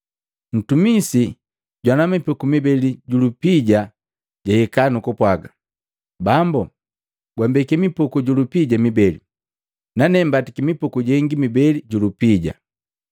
Ntumisi jwana mipuku mibeli ju lupija jahika nukupwaga, ‘Bambu gwambeki mipuku ju lupija mibeli. Nane mbatiki mipuku jengi mibeli ju lupija.’